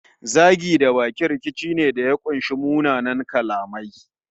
Zagi da baki rikici ne da ya kunshi munanan kalamai